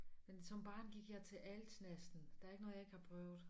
Men som barn gik jeg til alt næsten der er ikke noget jeg ikke har prøvet